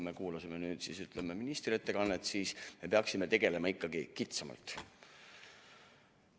Aga kui me nüüd ministri ettekannet kuulasime, siis me peaksime tegelema ikkagi kitsamalt.